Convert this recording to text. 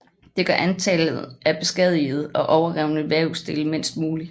Det gør antallet af beskadigede og overrevne vævsdele mindst muligt